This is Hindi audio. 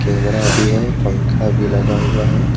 भी है पंखा भी लगा हुआ है।